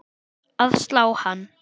að slá hann.